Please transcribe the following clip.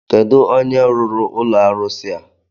Kedụ onye rụrụ ụlọ arụsi a?